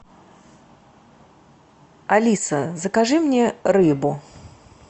алиса закажи мне рыбу